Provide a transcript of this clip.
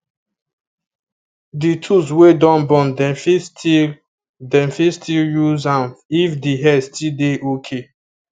the tools wey don burn dem fit still dem fit still use am if the head still dey okay